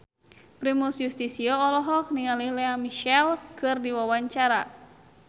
Primus Yustisio olohok ningali Lea Michele keur diwawancara